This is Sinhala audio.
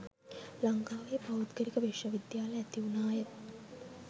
ලංකාවේ පෞද්ගලික විශ්ව විද්‍යාල ඇති වුණාය